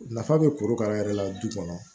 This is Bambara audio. Nafa bɛ korokara yɛrɛ la du kɔnɔ